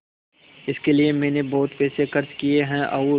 इसके लिए मैंने बहुत पैसे खर्च किए हैं और